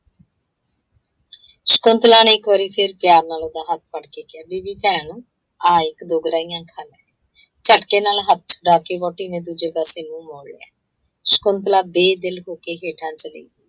ਸ਼ਕੁੰਤਲਾ ਨੇ ਇੱਕ ਵਾਰੀ ਫਿਰ ਪਿਆਰ ਨਾਲ ਉਹਦਾ ਹੱਥ ਫੜ੍ਹ ਕੇ ਕਿਹਾ, ਬੀਬੀ ਭੈਣ, ਆ ਇੱਕ - ਦੋ ਗਰਾਹੀਆਂ ਖਾ ਲੈ। ਝੱਟਕੇ ਨਾਲ ਹੱਥ ਛੁਡਾ ਕੇ ਵਹੁਟੀ ਨੇ ਦੂਜੇ ਪਾਸੇ ਮੂੰਹ ਮੋੜ ਲਿਆ। ਸ਼ਕੁੰਤਲਾ ਬੇ- ਦਿੱਲ ਹੋ ਕੇ ਹੇਠਾਂ ਚਲੀ ਗਈ।